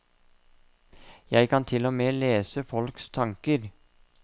Jeg kan til og med lese folks tanker.